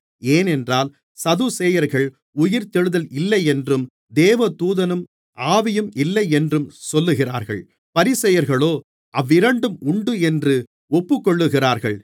ஏனென்றால் சதுசேயர்கள் உயிர்த்தெழுதல் இல்லையென்றும் தேவதூதனும் ஆவியும் இல்லையென்றும் சொல்லுகிறார்கள் பரிசேயர்களோ அவ்விரண்டும் உண்டென்று ஒப்புக்கொள்ளுகிறார்கள்